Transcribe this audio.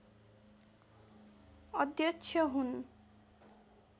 अध्यक्ष हुन्